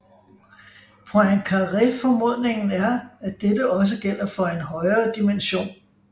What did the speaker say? Poincaréformodningen er at dette også gælder foren højere dimension